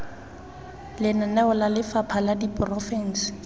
lenaneo la lefapha la diporofense